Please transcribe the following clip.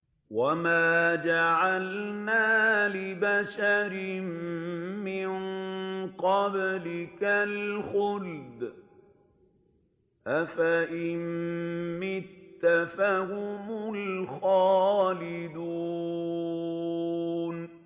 وَمَا جَعَلْنَا لِبَشَرٍ مِّن قَبْلِكَ الْخُلْدَ ۖ أَفَإِن مِّتَّ فَهُمُ الْخَالِدُونَ